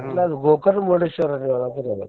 ಅಲ್ಲ ಅದ Gokarna Murdeshwar ಯಾದ ರಿ ಅದ.